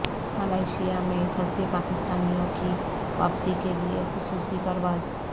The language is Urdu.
ملائیشیا میں پھنسے پاکستانیوں کی واپسی کے لیے خصوصی پرواز